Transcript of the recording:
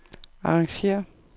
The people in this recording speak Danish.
arrangér